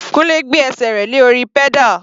Kunle gbé ẹsẹ̀ rẹ̀ lé orí pedal.